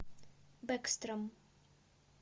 бэкстром